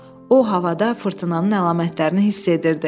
O, havada fırtınanın əlamətlərini hiss edirdi.